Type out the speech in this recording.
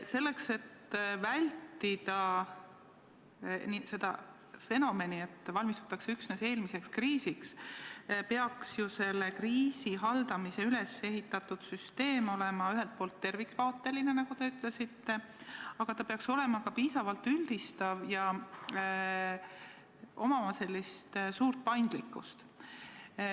Selleks, et vältida fenomeni, et valmistutakse üksnes eelmiseks kriisiks, peaks ju kriisi haldamiseks üles ehitatud süsteem olema ühelt poolt tervikvaateline, nagu te ütlesite, aga ta peaks olema ka piisavalt üldistav ja omama suurt paindlikkust.